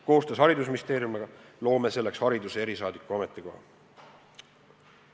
Koostöös haridusministeeriumiga loome selleks hariduse erisaadiku ametikoha.